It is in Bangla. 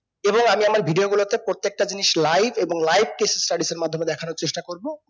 এই ভাবে আমি আমার video গুলোতে প্রত্যেকটা জিনিস live এবং live কে studies সের মাধ্যমে দেখানোর চেষ্টা করবো